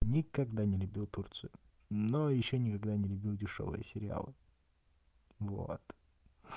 никогда не любил турцию но ещё никогда не любил дешёвые сериалы вот